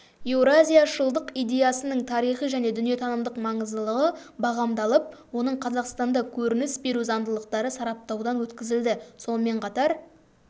еуразияшылдық идеясының тарихи және дүниетанымдық маңыздылығы бағамдалып оның қазақстанда көрініс беру заңдылықтары сараптаудан өткізілді сонымен қатар